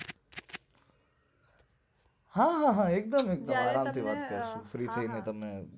હા હા એક્દુમ એક્દમ આરામ થી વાત કરશુ free થઈને